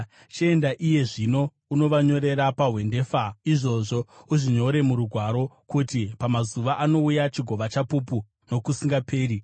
Chienda iye zvino, unovanyorera pahwendefa izvozvo, uzvinyore murugwaro, kuti pamazuva anouya chigova chapupu nokusingaperi.